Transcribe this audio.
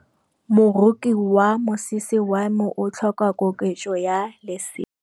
Moroki wa mosese wa me o tlhoka koketsô ya lesela.